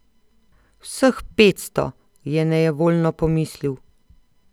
Vseh petsto, je nejevoljno pomislil.